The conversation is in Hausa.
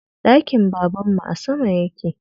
Ɗakin babanmu a sama yake